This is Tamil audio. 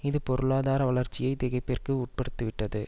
இது பொருளாதார வளர்ச்சியை திகைப்பிற்கு உட்படுத்திவிட்டது